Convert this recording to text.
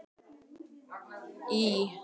Í gosinu olli jökulhlaup og miklu tjóni.